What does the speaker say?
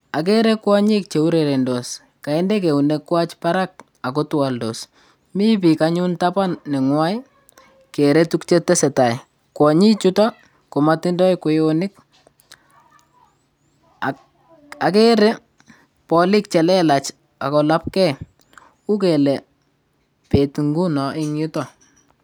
Okere kwoyik cheurerendos koinde eunek kwak barak ako itwoldos mii biik anyun en taban nenyuan kere tukuk chetesetai, kwonyik chutok komotindoi kweyonik, okere bolik chelelach ak kolapgee u kele bet ingunon en yutok.